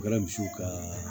Kɛra misiw ka